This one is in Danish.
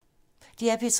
DR P3